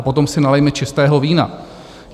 A potom si nalijme čistého vína.